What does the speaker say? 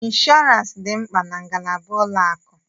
Ịnshọọransị dị mkpa na ngalaba ụlọ akụ.